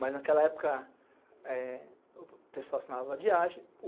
Mas naquela época, o pessoal assinava a vadiagem.